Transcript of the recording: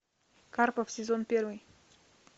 карпов сезон первый